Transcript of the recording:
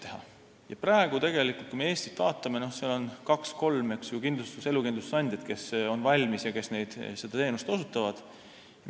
Eestis on praegu tegelikult kaks-kolm elukindlustusandjat, kes on valmis seda teenust osutama.